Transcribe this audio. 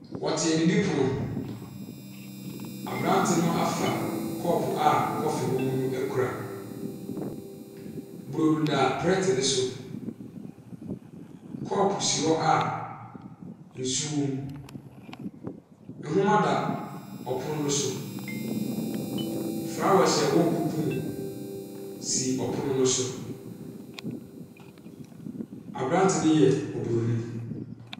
Wɔte adidipono ho. Abrante no afa kɔɔpo a kɔfe wɔ mu no akura. Burodo da plɛɛt no so. Kɔɔpo si hɔ a nsu wɔ mu. Nhoma da ɔpono no so. Flowers a ɛwɔ kuku mu si ɔpono no so. Abrante no yɛ oburoni.